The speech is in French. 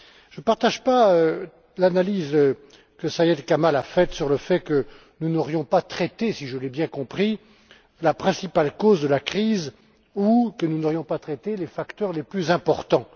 Je ne partage pas l'analyse de Syed Kamall concernant le fait que nous n'aurions pas traité si je l'ai bien compris la principale cause de la crise ou que nous n'aurions pas traité les facteurs les plus importants.